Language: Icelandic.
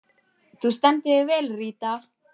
Þú stendur þig vel, Ríta!